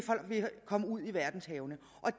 komme ud i verdenshavene